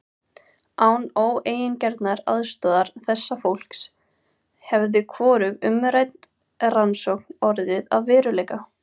Án óeigingjarnrar aðstoðar þessa fólks hefði hvorug umrædd rannsókn orðið að veruleika.